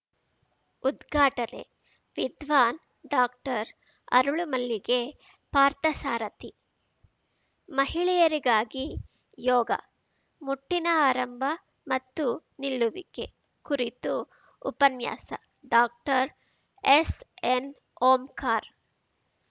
ಉದ್ಘಾಟನೆ ವಿದ್ವಾನ್‌ ಡಾಕ್ಟರ್ಅರಳುಮಲ್ಲಿಗೆ ಪಾರ್ಥಸಾರಥಿ ಮಹಿಳೆಯರಿಗಾಗಿ ಯೋಗ ಮುಟ್ಟಿನ ಆರಂಭ ಮತ್ತು ನಿಲ್ಲುವಿಕೆ ಕುರಿತು ಉಪನ್ಯಾಸ ಡಾಕ್ಟರ್ಎಸ್‌ಎನ್‌ಓಂಕಾರ್‌